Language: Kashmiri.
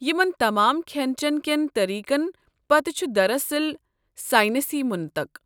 یمن تمام کھٮ۪ن چٮ۪ن کٮ۪ن طریقن پٔتہٕ چھُ دراصل ساینسی منطق۔